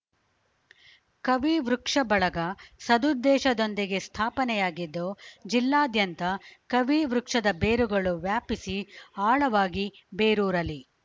ಕವಿವೃಕ್ಷ ಬಳಗ ಸದುದ್ದೇಶದೊಂದಿಗೆ ಸ್ಥಾಪನೆಯಾಗಿದ್ದು ಜಿಲ್ಲಾದ್ಯಂತ ಕವಿ ವೃಕ್ಷದ ಬೇರುಗಳು ವ್ಯಾಪಿಸಿ ಆಳವಾಗಿ ಬೇರೂರಲಿ